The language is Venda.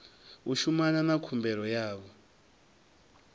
u shumana na khumbelo yavho